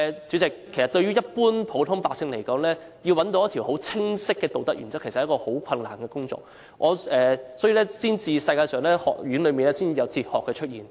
主席，對普通百姓來說，要找一條很清晰的道德原則，其實是一件很困難的事情，所以學院才有哲學的出現。